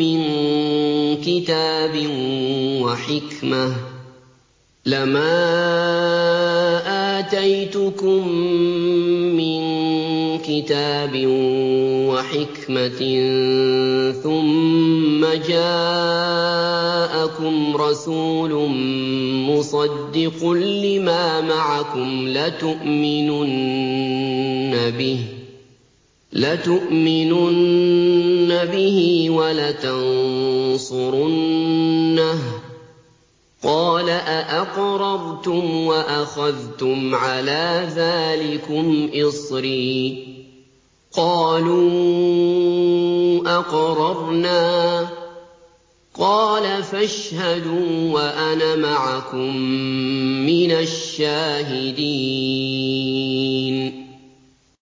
مِّن كِتَابٍ وَحِكْمَةٍ ثُمَّ جَاءَكُمْ رَسُولٌ مُّصَدِّقٌ لِّمَا مَعَكُمْ لَتُؤْمِنُنَّ بِهِ وَلَتَنصُرُنَّهُ ۚ قَالَ أَأَقْرَرْتُمْ وَأَخَذْتُمْ عَلَىٰ ذَٰلِكُمْ إِصْرِي ۖ قَالُوا أَقْرَرْنَا ۚ قَالَ فَاشْهَدُوا وَأَنَا مَعَكُم مِّنَ الشَّاهِدِينَ